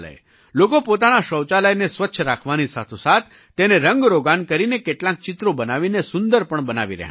લોકો પોતાના શૌચાલયને સ્વચ્છ રાખવાની સાથોસાથ તેને રંગરોગાન કરીને કેટલાંક ચિત્રો બનાવીને સુંદર પણ બનાવી રહ્યાં છે